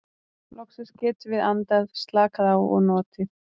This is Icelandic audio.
Loksins getum við andað, slakað á og notið.